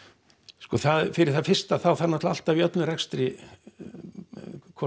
sko fyrir það fyrsta þá þarf náttúrulega alltaf í öllum rekstri hvort